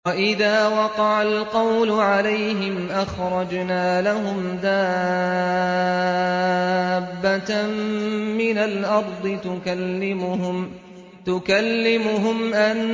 ۞ وَإِذَا وَقَعَ الْقَوْلُ عَلَيْهِمْ أَخْرَجْنَا لَهُمْ دَابَّةً مِّنَ الْأَرْضِ تُكَلِّمُهُمْ أَنَّ